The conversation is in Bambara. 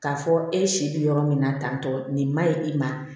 K'a fɔ e si bɛ yɔrɔ min na tantɔ nin maɲi i ma